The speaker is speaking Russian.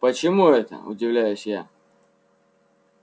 почему это удивляюсь я